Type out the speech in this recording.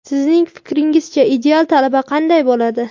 Sizning fikringizcha ideal talaba qanday bo‘ladi?.